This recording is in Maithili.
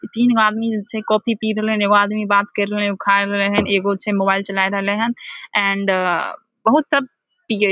इ तीन गो आदमी जे छै कॉफी पी रहले हन एगो आदमी बात कर रहले एगो आदमी खाय रहले हन एगो छै मोबाइल चलाए रहले हन एंड बहुत सब पिये --